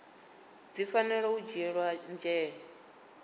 dzi fanela u dzhielwa nzhele